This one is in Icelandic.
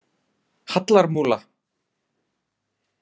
Hallarmúla